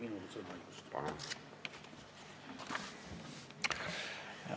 Austatud juhataja!